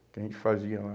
Que a gente fazia lá.